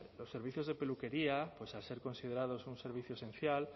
los servicios de peluquería al ser considerados un servicio esencial